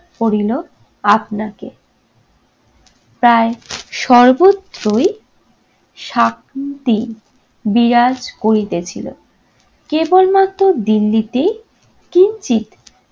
করিল আপনাকে। তাই সর্বত্রই শান্তি বিরাজ করিতেছিল। কেবলমাত্র দিল্লিতে কিঞ্চিৎ